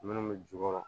Minnu bɛ jukɔrɔ